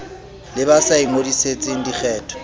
le ba sa ingodisetseng dikgetho